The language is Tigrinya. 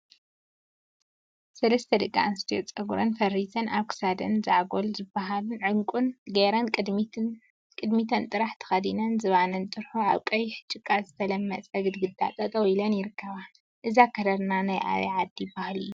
ሰለስተ ደቂ አንስትዮ ፀጉረን ፈሪዘን አብ ክሳደን ዛዕጎል ዝበሃልን ዕንቍን ገይረን ቅድሚተን ጥራሕ ተከዲነን ዝባነን ጥርሑ አብ ቀይሕ ጭቃ ዝተለመፀ ግድግዳ ጠጠው ኢለን ይርከባ፡፡ እዚ አከዳድና ናይ አበይ ዓዲ ባህሊ እዩ?